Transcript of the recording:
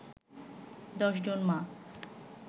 ১০ জন মা